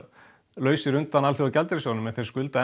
lausir undan Alþjóðagjaldeyrissjóðnum en skulda